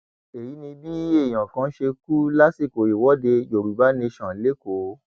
èyí ni bí èèyàn kan ṣe kú lásìkò ìwọde yorùbá nation lẹkọọ